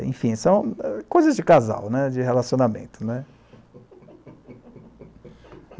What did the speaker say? Enfim, são coisas de casal, de relacionamento.